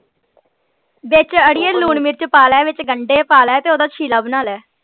ਵਿੱਚ ਅੜੀਏ ਲੂਣ ਮਿਰਚ ਪਾ ਲੈ ਵਿੱਚ ਗੰਢੇ ਪਾ ਲੈ ਤੇ ਓਹਦਾ ਚਿਲਾ ਬਣਾ ਲੈ।